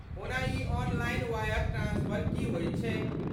ओना ई online wire transfer की होयत छै?